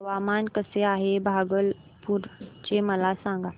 हवामान कसे आहे भागलपुर चे मला सांगा